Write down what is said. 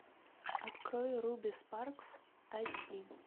открой руби спаркс айч ди